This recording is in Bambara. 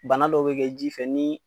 Bana dɔw be kɛ ji fɛ ni